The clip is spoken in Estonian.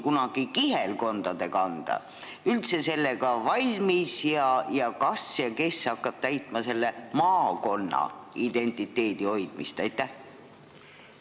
Kunagi oli see kihelkondade kanda, kes nüüd hakkab täitma maakonna identiteedi hoidmise ülesannet?